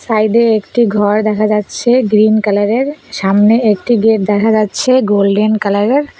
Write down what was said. Side -এ একটি ঘর দেখা যাচ্ছে গ্রীন কালার -এর সামনে একটি গেট দেখা যাচ্ছে গোল্ডেন কালার -এর।